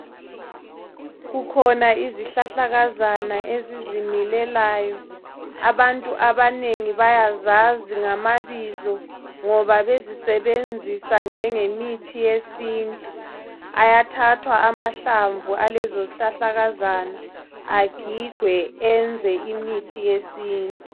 Kukhona izihlahlakazana ezizimilelayo abantu abanengi bayazazi ngamabizo ngoba bezisenzisa njengemithi yesintu. Ayathathwa mahlamvu alezo zihlahlakazana agigwe ayenzwe imithi yesintu.